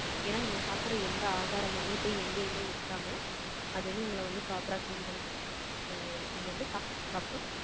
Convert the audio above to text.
ஏன்னா, நீங்க சாப்பிடுற, எந்த ஆகாரமுமே, போய், எங்கேயுமே நிக்காம, அது வந்து, உங்களை வந்து, proper ஆ, clean பண்ணி கொடுக்கும். So நீங்க வந்து சாப்பிட்டதுக்கு அப்புறம்